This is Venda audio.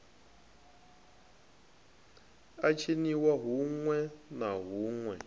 a tshiniwa huṋwe na huṋwe